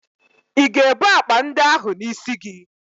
Ị ga-ebu akpa ndị ahụ n'isi gị?